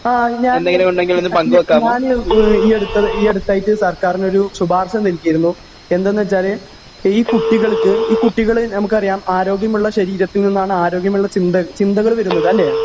ആ ഞാൻ ഞാ ഞാന് ഈ അടുത്തത് ഏഹ് ഈ അടുത്തായിട്ട് സർക്കാരിനൊരു ശുപാർശ നൽകിയിരുന്നു എന്താന്നുവച്ചാല് ഈ കുട്ടികൾക്ക് ഈ കുട്ടികള് നമുക്കറിയാം ആരോഗ്യമുള്ള ശരീരത്തിൽ നിന്നാണ് ആരോഗ്യമുള്ള ചിന്ത ചിന്തകള് വരുന്നത് അല്ലെ?